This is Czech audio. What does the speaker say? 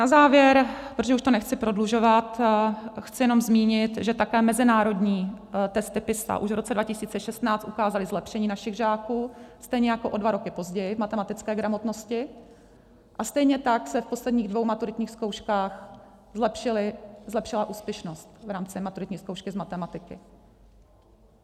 Na závěr, protože už to nechci prodlužovat, chci jenom zmínit, že také mezinárodní testy PISA už v roce 2016 ukázaly zlepšení našich žáků, stejně jako o dva roky později, v matematické gramotnosti a stejně tak se v posledních dvou maturitních zkouškách zlepšila úspěšnost v rámci maturitní zkoušky z matematiky.